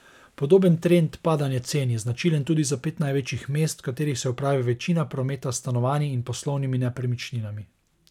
Podoben trend padanja cen je značilen tudi za pet največjih mest, v katerih se opravi večina prometa s stanovanji in poslovnimi nepremičninami.